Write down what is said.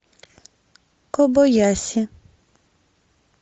кобаяси